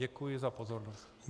Děkuji za pozornost.